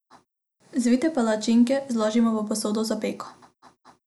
Zvite palačinke zložimo v posodo za peko.